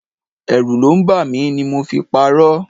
Ẹrù ló ń bà mí ni mo fi parọ.